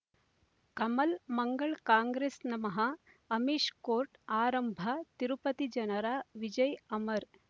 ಕಮಲ್ ಮಂಗಳ್ ಕಾಂಗ್ರೆಸ್ ನಮಃ ಅಮಿಷ್ ಕೋರ್ಟ್ ಆರಂಭ ತಿರುಪತಿ ಜನರ ವಿಜಯ ಅಮರ್